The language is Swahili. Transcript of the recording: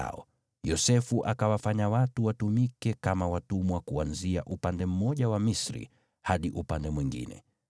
naye Yosefu akawafanya watu watumike kama watumwa, kuanzia upande mmoja wa Misri hadi upande mwingine.